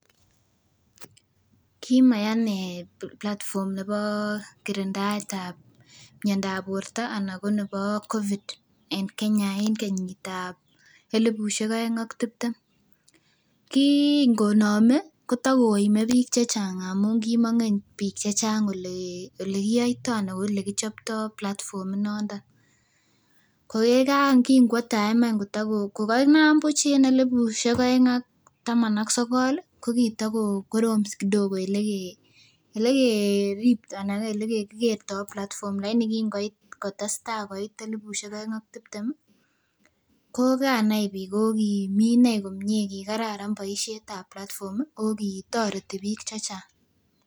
Kimaya inee platform nebo kirindaet ab miondab borto ana ko nebo COVID eng Kenya en kenyit ab elipusiek oeng ak tiptem. Kin konome kotokoime biik chechang amun kimongen biik chechang olekiyoitoo anan olekichoptoo platform inondon ko yekan kinkwo time any kotago kokanam buch en elipusiek oeng ak taman ak sokol ih kokitako korom kidogo elekekertoo platform lakini kin koit kotesetai koit elipusiek oeng ak tiptem ko kanai biik o kimii inei kikararan boisiet ab platform ako kitoreti biik chechang